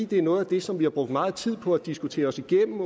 det er noget af det som vi har brugt meget tid på at diskutere os igennem